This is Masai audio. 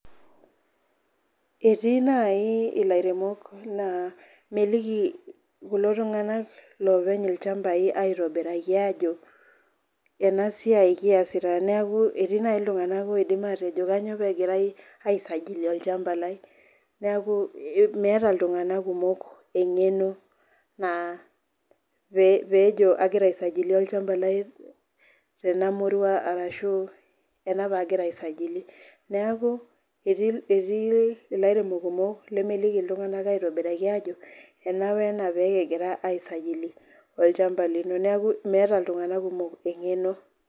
Etii nai ilairemok la meliki kulo tunganak loopeny lchambai aitobiraki ajo enasiai kiasata neaku etii nai ltunganak loidim atejo kanyio pegirai aisajili olchamba lai neaku meeta ltunganak kumok engeno peejo agira iisajili olchamba lai tenamurua arashu ena pagira aisajili neaku etii ilairemok kumok lemeliki ltunganak ajo ena wena pekigira aisajili olchamba lino neaku meeta ltunganak kumok engeno.